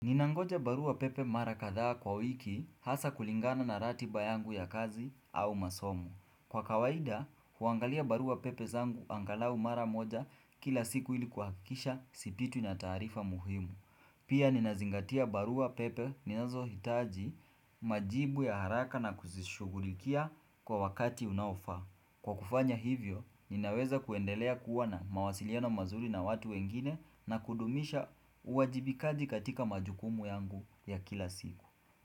Ninangoja barua pepe mara kadhaa kwa wiki hasa kulingana na ratiba yangu ya kazi au masomo. Kwa kawaida, huangalia barua pepe zangu angalau mara moja kila siku ilikuhakisha sipitwi na taarifa muhimu. Pia ninazingatia barua pepe ninazohitaji majibu ya haraka na kuzishugulikia kwa wakati unaofaa. Kwa kufanya hivyo, ninaweza kuendelea kuwana na mawasiliano mazuri na watu wengine na kudumisha uwajibikaji katika majukumu yangu ya kila siku.